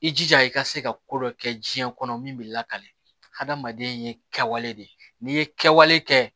I jija i ka se ka ko dɔ kɛ diɲɛ kɔnɔ min bɛ lakale adamaden ye kɛwale de ye n'i ye kɛwale kɛ